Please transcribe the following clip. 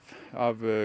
af